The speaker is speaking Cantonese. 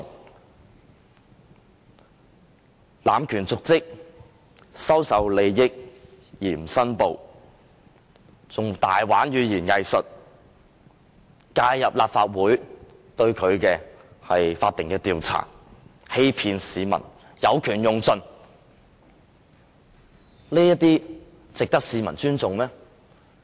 他濫權瀆職、收受利益而不申報、更玩弄語言"偽術"、介入立法會對他的法定調查、欺騙市民、有權用盡，這些值得市民尊重嗎？